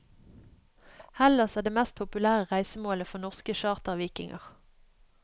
Hellas er det mest populære reisemålet for norske chartervikinger.